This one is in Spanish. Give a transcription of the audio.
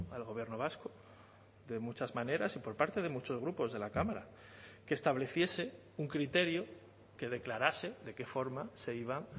al gobierno vasco de muchas maneras y por parte de muchos grupos de la cámara que estableciese un criterio que declarase de qué forma se iba